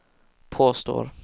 påstår